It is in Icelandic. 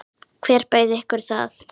Hver bauð ykkur það?